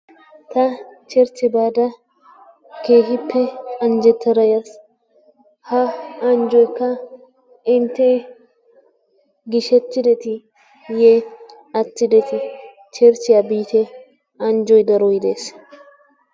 Ta cherchiyaa baada keehippe anjjetada yaas. Ha anjjoykka intte giishettidetiiye anjjettideeti? Cherchiyaa biitte anjjoy daroy dees.